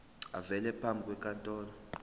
avele phambi kwenkantolo